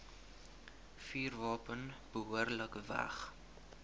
vuurwapen behoorlik weg